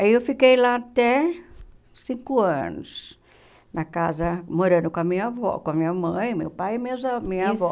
Aí eu fiquei lá até cinco anos, na casa, morando com a minha avó, com a minha mãe, meu pai e minhas a minha avó. Isso